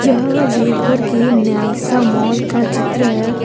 यह देवघर के न्यासा मॉल का चित्र है।